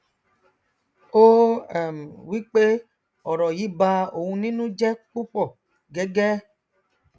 ó um wípé ọrọ yí ba òun nínú jẹ púpọ gẹgẹ